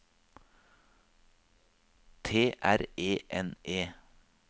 T R E N E